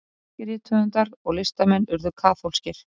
margir rithöfundar og listamenn urðu kaþólskir